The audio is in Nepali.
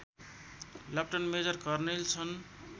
लप्टन मेजर कर्णेल छन्